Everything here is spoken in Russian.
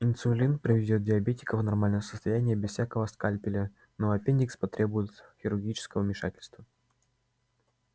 инсулин приведёт диабетика в нормальное состояние без всякого скальпеля но аппендикс потребует хирургического вмешательства